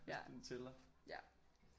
Ja ja